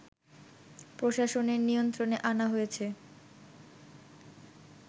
প্রশাসনের নিয়ন্ত্রণে আনা হয়েছে